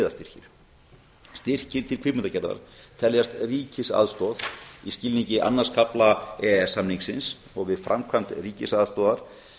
miðastyrkir styrkir til kvikmyndagerðar teljast ríkisaðstoð í skilningi annars kafla e e s samningsins og við framkvæmd ríkisaðstoðar